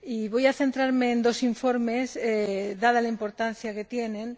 Voy a centrarme en dos informes, dada la importancia que tienen.